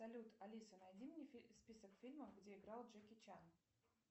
салют алиса найди мне список фильмов где играл джеки чан